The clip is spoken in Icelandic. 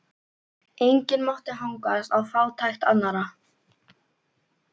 Enginn mátti hagnast á fátækt annarra.